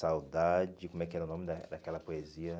Saudade, como é que era o nome da daquela poesia?